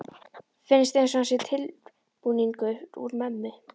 Finnst einsog hann sé tilbúningur úr mömmu.